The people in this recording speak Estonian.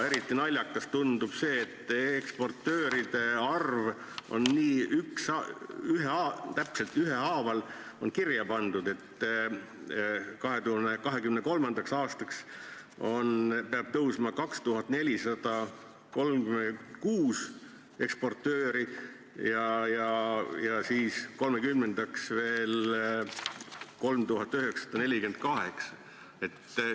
Eriti naljakas tundub see, et eksportööride arv on nii täpselt kirja pandud: 2023. aastaks peab olema 2436 eksportööri ja 2030. aastaks 3948.